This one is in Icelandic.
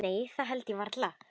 Nei það held ég varla.